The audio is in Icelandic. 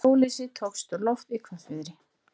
Hjólhýsi tókst á loft í hvassviðri